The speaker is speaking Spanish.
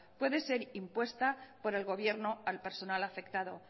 puede ser impuesta por el gobierno al personal afectado